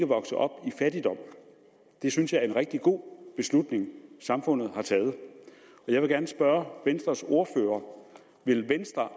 vokse op i fattigdom det synes jeg er en rigtig god beslutning samfundet har taget jeg vil gerne spørge venstres ordfører vil venstre